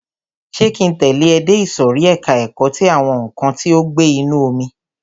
Ṣé ki ń tẹ̀lẹ́ ẹ dé ìsòrí ẹka ẹ̀kọ́ ti àwọn nǹkan tí ó ń gbé inú omi?